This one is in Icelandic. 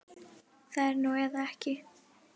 Það er núna eða ekki.